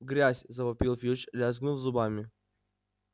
грязь завопил филч лязгнув зубами